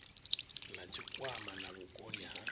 na tshikwama na vhukoni ha